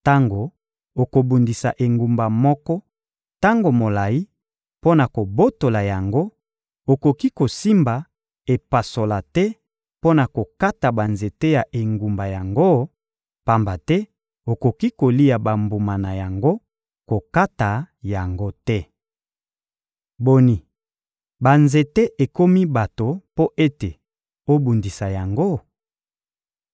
Tango okobundisa engumba moko tango molayi mpo na kobotola yango, okoki kosimba epasola te mpo na kokata banzete ya engumba yango, pamba te okoki kolia bambuma na yango; kokata yango te. Boni, banzete ekomi bato mpo ete obundisa yango?